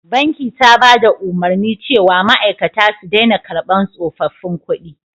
Banki ta bada umarni cewa ma'aikata su dena karban tsofaffin kudi